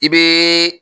I bɛ